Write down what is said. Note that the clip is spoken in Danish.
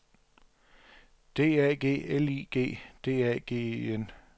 D A G L I G D A G E N